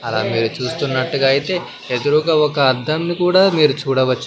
అలా మీరు చూస్తున్నట్టుగా అయితే ఎదురుగా ఒక అద్దం ని కూడా మీరు చూడవచ్చు.